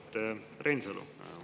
Auväärt Reinsalu!